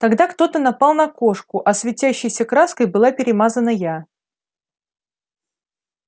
тогда кто-то напал на кошку а светящейся краской была перемазана я